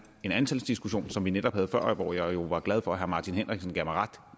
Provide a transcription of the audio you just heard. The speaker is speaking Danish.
en diskussion som vi netop havde før og hvor jeg jo var glad for at herre martin henriksen gav mig ret